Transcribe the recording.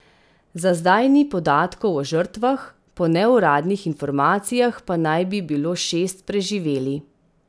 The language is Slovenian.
Za zdaj ni podatkov o žrtvah, po neuradnih informacijah pa naj bi bilo šest preživeli.